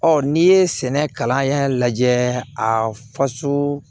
Ɔ n'i ye sɛnɛ kalan in lajɛ a faso